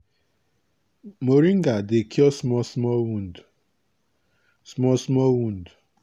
moringa dey cure small small wound. small small wound.